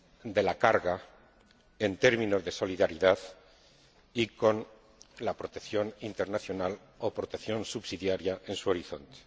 de la carga en términos de solidaridad y con la protección internacional o protección subsidiaria en su horizonte.